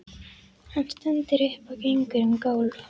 Hann stendur upp og gengur um gólf.